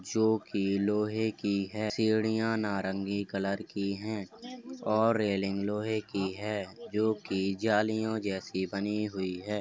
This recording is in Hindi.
जो कि लोह की है। सीढियां नारंगी कलर की है और रेलिंग लोहे की है जो की जालियो जैसी बनी हुई हैं।